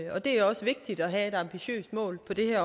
nå dette